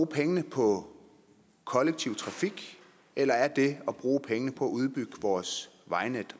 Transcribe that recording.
pengene på kollektiv trafik eller er det at bruge pengene på at udbygge vores vejnet